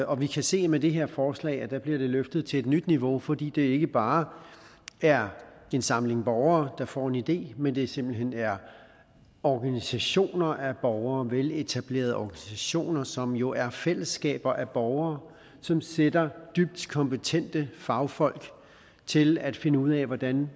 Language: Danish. og vi kan se med det her forslag at det bliver løftet til et nyt niveau fordi det ikke bare er en samling borgere der får en idé men det simpelt hen er organisationer af borgere veletablerede organisationer som jo er fællesskaber af borgere som sætter dybt kompetente fagfolk til at finde ud af hvordan